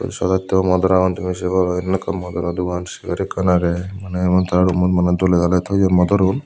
saat atobo motor agon tumi sei paror eyen ekkan motoraw dogan segar ekkan agey mane emon tara rummot dole daley toyon motorun.